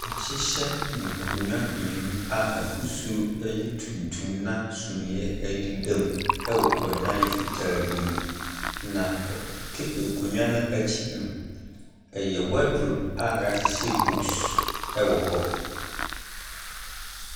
Wɔahyehyɛ nkonnwa mmienu a n’ahosuo yɛ tuntum na suneɛ so deda mu wɔ dan fitaa bi mu. Na tab nkonnwa no akyi no, ɛyɛ wardrobe a yɛahyehyɛ books wɔ hɔ.